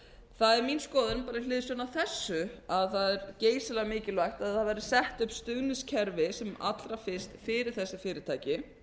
það er mín skoðun bara með hliðsjón af þessu að það er geysilega mikilvægt að það verði sett upp stuðningskerfi sem allra fyrst fyrir þessi fyrirtæki